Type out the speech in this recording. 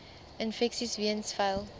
infeksies weens vuil